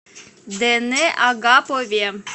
дэне агапове